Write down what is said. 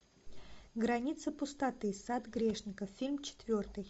граница пустоты сад грешников фильм четвертый